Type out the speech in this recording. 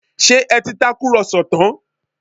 Ṣé ẹ ti tàkùrọ̀sọ tán?